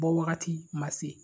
Bɔ wagati ma se